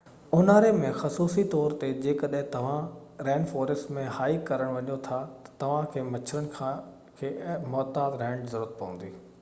اونهاري ۾ خصوصي طور تي جيڪڏهن توهان رين فوريسٽ ۾ هائيڪ ڪرڻ چاهيو ٿا ته توهان کي مچھرن کي محتاط رهڻ جي ضرورت پوندي